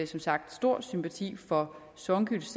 som sagt har stor sympati for songüls